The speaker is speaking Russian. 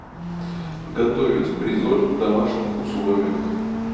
готовить бризоль в домашних условиях